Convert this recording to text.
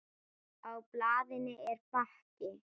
Á blaðinu er bakki.